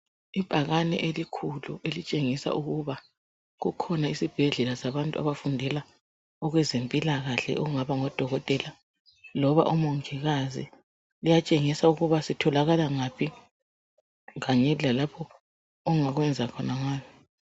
Ibhakane elikhulu elitshengisa ukuba kukhona isibhedlela sabantu abafundela okwezempilakahle okungaba ngodokotela loba omongikazi. Kuyatshengisa ukuba sitholakala ngaphi kanye lalapho ongakwenza khona ngayo